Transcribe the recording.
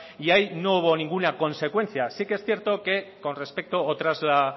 y ahí no hubo ninguna consecuencia sí que es cierto que con respecto o tras la